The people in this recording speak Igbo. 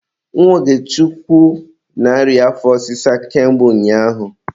Nwa Ogechukwu na-arịa afọ ọsịsa ka mgbe ụnyaahụ